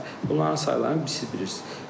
Bunların saylarını siz bilirsiz.